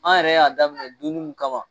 An yɛrɛ y'a daminɛ dunni mun kama